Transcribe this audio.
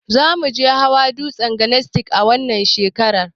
Zamuje hawa dutsen daniski na wannan shekarar